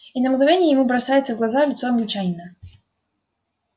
и на мгновение ему бросается в глаза лицо англичанина